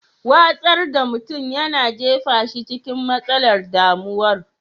Watsar da mutum yana jefa shi cikin matsalar damuwar.